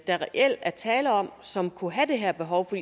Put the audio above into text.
der reelt er tale om og som kunne have det her behov for